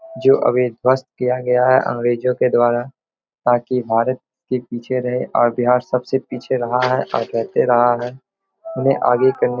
जो अभी ध्वस्त किया गया है अंग्रेजों के द्वारा ताकि भारत के पीछे रहे और बिहार सबसे पीछे रहा है और करते रहा है। उन्हें आगे करने --